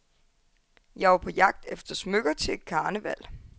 Jeg var på jagt efter smykker til et karneval.